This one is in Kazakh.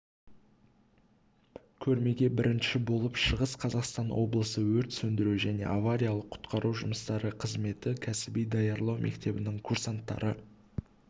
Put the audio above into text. көрмеге бірінші болып шығыс қазақстан облысы өрт сөндіру және авариялық-құтқару жұмыстары қызметі кәсіби даярлау мектебінің курсанттары